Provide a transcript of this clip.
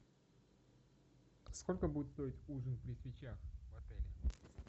сколько будет стоить ужин при свечах в отеле